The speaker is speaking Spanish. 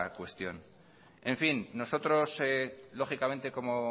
cuestión en fin nosotros lógicamente como